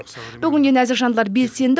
бүгінде нәзік жандылар белсенді